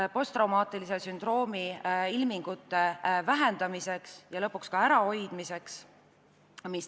Just nimelt posttraumaatilise sündroomi ilmingute vähendamiseks ja lõpuks ka ärahoidmiseks.